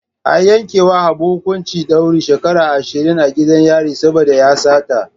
An yankewa Abu hukuncin daurin shekaru ashirin a gidan yari saboda ya sata.